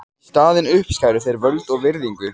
Í staðinn uppskæru þeir völd og virðingu.